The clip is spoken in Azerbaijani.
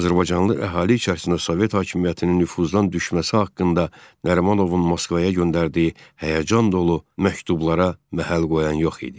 Azərbaycanlı əhali içərisində Sovet hakimiyyətinin nüfuzdan düşməsi haqqında Nərimanovun Moskvaya göndərdiyi həyəcan dolu məktublara məhəl qoyan yox idi.